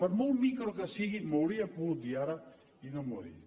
per molt micro que sigui m’ho hauria pogut dir ara i no m’ho ha dit